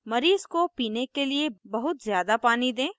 मरीज़ को पीने के लिए बहुत ज़्यादा पानी दें